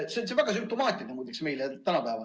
See on meil tänapäeval muide väga sümptomaatiline.